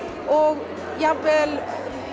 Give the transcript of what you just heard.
og jafnvel